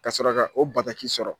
Kasɔrɔ ka o bataki sɔrɔ.